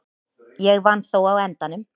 Ég vann þó á endanum.